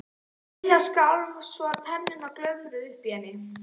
Lilla skalf svo að tennurnar glömruðu uppi í henni.